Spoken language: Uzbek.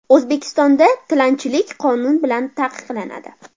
O‘zbekistonda tilanchilik qonun bilan taqiqlanadi.